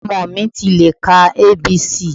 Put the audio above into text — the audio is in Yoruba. Ọmọ mi ti lè ka A. B. C.